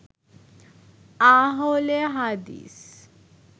আহলে হাদিস